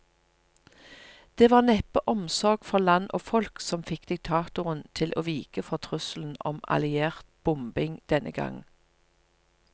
Det var neppe omsorg for land og folk som fikk diktatoren til å vike for trusselen om alliert bombing denne gang.